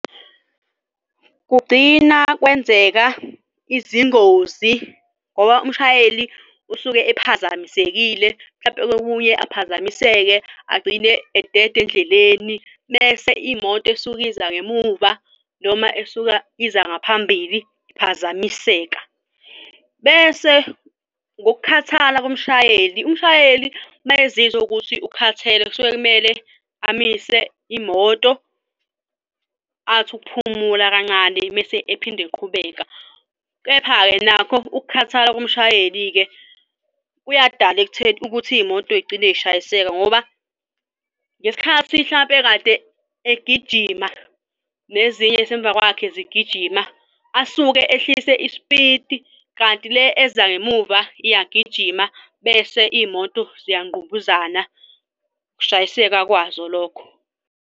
Kugcina kwenzeka izingozi ngoba umshayeli usuke ephazamisekile mhlampe kokunye aphazamiseke agcine edede endleleni, bese iy'moto esuke iza ngemuva noma esuka iza ngaphambili iphazamiseka. Bese ngokukhathala komshayeli, umshayeli uma ezizwa ukuthi ukhathele kusuke kumele amise imoto athi ukuphumula kancane mese ephinde eqhubeka. Kepha-ke nakho ukukhathala komshayeli-ke kuyadala ekutheni ukuthi iy'moto igcine yishayiseka ngoba ngesikhathi hlampe kade egijima nezinye yisemuva kwakhe zigijima asuke ehlise isipidi kanti le ezangemuva iyagijima bese iy'moto ziyanqumbuzana ukushayiseka kwazo lokho.